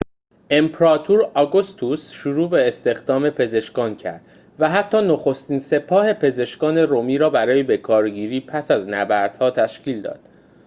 امپراتور آگوستوس شروع به استخدام پزشکان کرد و حتی نخستین سپاه پزشکان رومی را برای بکارگیری پس از نبردها تشکیل داد